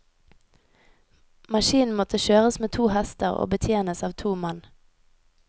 Maskinen måtte kjøres med to hester og betjenes av to mann.